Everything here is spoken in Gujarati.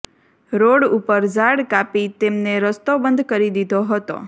રોડ ઉપર ઝાડ કાપી તેમને રસ્તો બંધ કરી દિધો હતો